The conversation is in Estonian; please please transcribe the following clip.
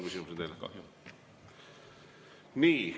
Ei ole teile rohkem küsimusi.